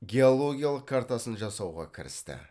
геологиялық картасын жасауға кірісті